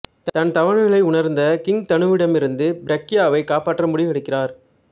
தன் தவறுகளை உணரந்த கிங் தனுவிடமிருந்து பிரக்யாவைக் காப்பாற்ற முடிவெடுக்கிறார்